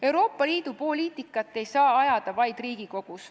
Euroopa Liidu poliitikat ei saa ajada vaid Riigikogus.